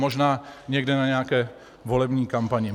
Možná někde na nějaké volební kampani.